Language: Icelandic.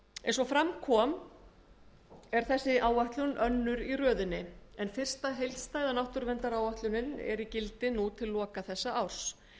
eins og fram kom í byrjun er þessi áætlun önnur í röðinni en fyrsta heildstæða náttúruverndaráætlunin er í gildi nú til loka þessa árs